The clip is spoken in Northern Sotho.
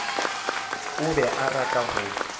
o be a rata go